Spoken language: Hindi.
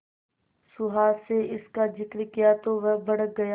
सुहास से इसका जिक्र किया तो वह भड़क गया